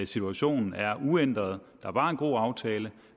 situationen er uændret der var en god aftale